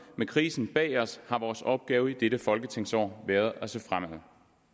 med krisen bag os har vores opgave i dette folketingsår været at se frem